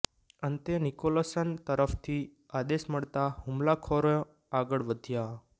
અંતે નિકોલસન તરફથી આદેશ મળતાં હુમલાખોરો આગળ વધ્યા